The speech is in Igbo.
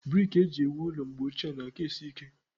Brik eju ewu ụlọ mgbe ọchie na-aka esi ike